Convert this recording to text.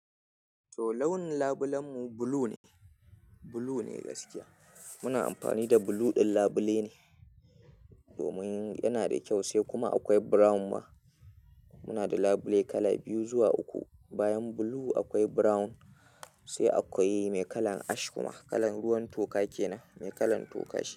To launin labulen mu blue ne, blue ne gaskiya. Muna amfani da blue ɗin labile ne domin yana da kyau sai kuma akwai brown ma. Muna da labule kala biyu zuwa uku. Bayan blue akwai brown sai akwai mai kalan ash kuma, kalan ruwan toka kenan, mai kalan toka shine.